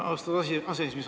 Austatud aseesimees!